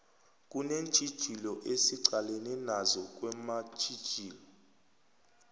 kunentjhijilo esiqalene nazo kwezamasiko